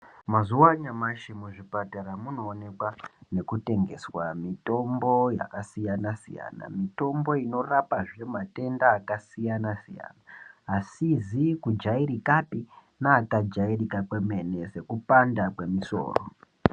Mazuwa anyamashi muzvipatara munoonekwa kutengeswa mutombo yakasiyana siyana. Mitombo inorapazve matenda akasiyana siyana asizi kujairikapi neakajairika kwemene sekupanda kwemusoro.